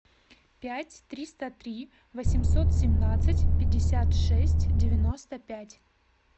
пять триста три восемьсот семнадцать пятьдесят шесть девяносто пять